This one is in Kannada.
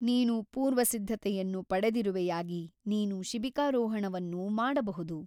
ನೀನು ಪೂರ್ವ ಸಿದ್ಧತೆಯನ್ನು ಪಡೆದಿರುವೆಯಾಗಿ ನೀನು ಶೀಬಿಕಾರೋಹಣವನ್ನು ಮಾಡಬಹುದು.